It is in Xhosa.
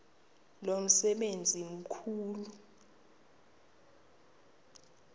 lo msebenzi mkhulu